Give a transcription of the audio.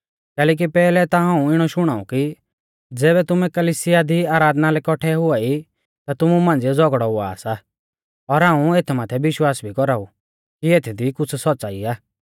कैलैकि पैहलै ता हाऊं इणौ शुणाऊं कि ज़ैबै तुमै कलिसिया दी आराधना लै कौट्ठै हुआई ता तुमु मांझ़िऐ झ़ौगड़ौ हुआ सा और हाऊं एथ माथै विश्वास भी कौराऊ कि एथदी कुछ़ सौच़्च़ाई आ